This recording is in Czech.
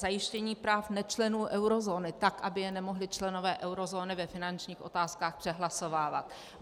Zajištění práv nečlenů eurozóny tak, aby je nemohli členové eurozóny ve finančních otázkách přehlasovávat.